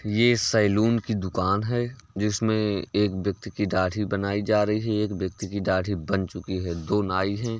ये सैलून की दुकान है। जिसमे एक व्यक्ति की दाढ़ी बनाई जा रही है। एक व्यक्ति की दाढ़ी बन चुकी है। दो नाई हैं।